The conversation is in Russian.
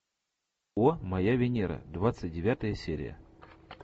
о моя венера двадцать девятая серия